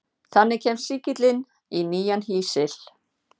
Þannig kemst sýkillinn í nýjan hýsil.